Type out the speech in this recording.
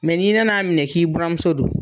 Mɛ n'i nan'a minɛ k'i bɔramuso don.